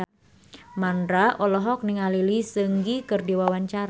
Mandra olohok ningali Lee Seung Gi keur diwawancara